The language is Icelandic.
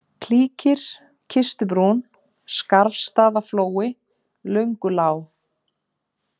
Klýkir, Kistubrún, Skarfsstaðaflói, Löngulág